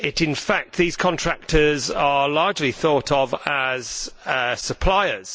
In fact, these contractors are largely thought of as suppliers.